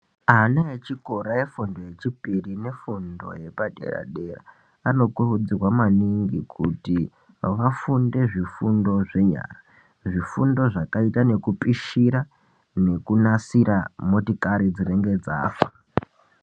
Ana echikora efundo yechipiri nefundo yepadera-dera anokurudzirwa maningi kuti vafunde zvifundo zvenyara. Zvifundo zvakaita nekupishira nekunasira motikari dzinenge dzafa.